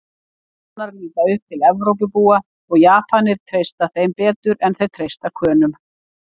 Kanar líta upp til Evrópubúa og Japanir treysta þeim betur en þeir treysta Könum.